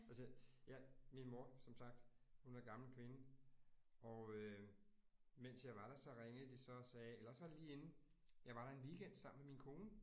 Altså jeg min mor som sagt, hun er gammel kvinde. Og øh mens jeg var der, så ringede de så og sagde, eller også var det lige inden. Jeg var der en weekend sammen med min kone